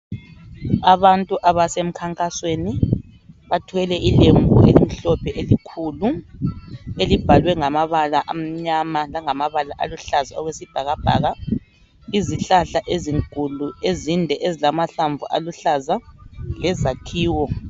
Abantu abasemkhankasweni bathwele ilembu elimhlophe elikhulu elibhalwe ngamabala amnyama langamabala aluhlaza okwesibhakabhaka, izihlahla ezinkulu ezinde ezilamahlamvu aluhlaza lezakhiwo.